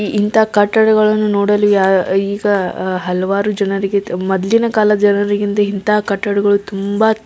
ಇಂತಹ ಕಟ್ಟಡಗಳು ನೋಡಲು ಯಾರು ಈಗ ಅಹ್ ಹಲವಾರು ಜನರಿಗೆ ಮೊದ್ಲು ಕಾಲದ ಜನರಿಗೆ ಇಂತಹ ಕಟ್ಟಡಗಳು ತುಂಬ --